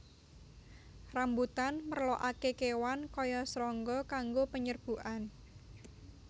Rambutan merlokaké kéwan kaya srangga kanggo penyerbukan